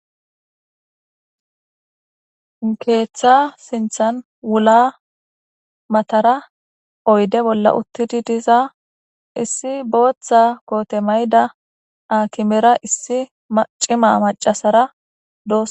keeththa sinthan wula matara oyde bolla uttidi diza issi booththa koote mayda akimera issi acima macasara do